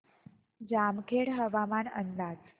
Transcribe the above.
जामखेड हवामान अंदाज